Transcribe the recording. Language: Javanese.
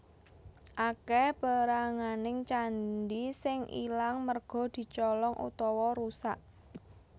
Akèh péranganing candhi sing ilang merga dicolong utawa rusak